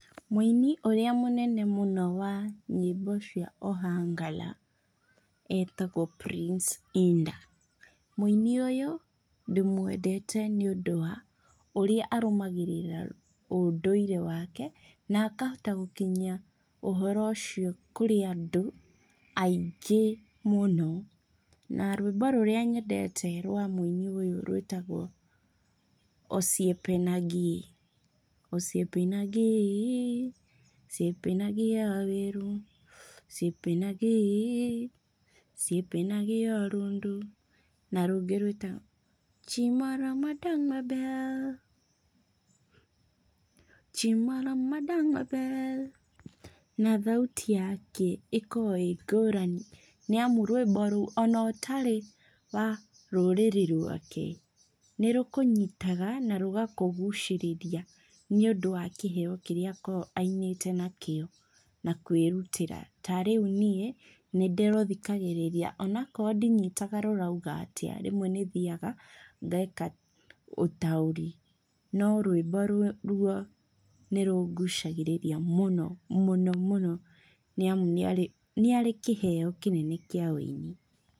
Mũini ũrĩa mũnene mũno wa nyĩmbo cia Ohangala etagwo, Prince Iddah, mũini ũyũ ndĩmũendete nĩ ũndũ wa ũrĩa arũmagĩrĩra ũndũire wake nakahota gũkinyia ũhoro ũcio kũrĩ andũ aingĩ mũno, na rwĩmbo rũrĩa nyendete rwa mũini ũyũ rwĩtagwo, Osiyepenangi, na rũngĩ rwĩtagwo na thauti yake ĩkoragwo ĩngũrani, nĩ amu rwĩmbo rũu ona ũtarĩ wa rũrĩrĩ rwake nĩ rũkũnyitaga na rũgakũgucĩrĩria nĩ ũndũ wa kĩheo kĩrĩa akoragwo ainĩte nakĩo, na kwĩrutĩra ta rĩu nĩ ndĩrũthikagĩrĩria onakorwo ndinyotaga rũrauga atĩa, rĩmwe nĩ thiaga ngeka ũtaũri no rwĩmbo rũu nĩ rũngucagĩrĩria mũno, mũno, nĩ arĩ kĩheo kĩnene kĩa wũini.